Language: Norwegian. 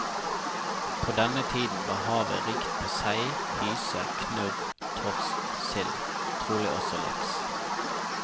På denne tiden var havet rikt på sei, hyse, knurr, torsk, sild, trolig også laks.